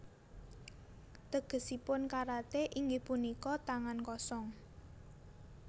Tegesipun karaté inggih punika tangan kosong